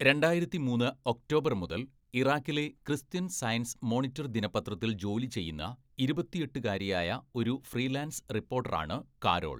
രണ്ടായിരത്തിമൂന്ന് October മുതൽ, ഇറാഖിലെ Christian Science Monitor ദിനപത്രത്തിൽ ജോലി ചെയ്യുന്ന, ഇരുപത്തിയെട്ടുകാരിയായ ഒരു ഫ്രീലാൻസ് റിപ്പോർട്ടറാണ് കാരോൾ.